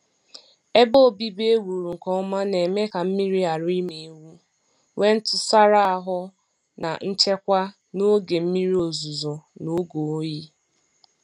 Ebe obibi ewuru nke ọma na-eme ka mmiri ghara ịma ewu, nwee ntụsara ahụ na nchekwa n'oge mmiri ozuzo na oge oyi.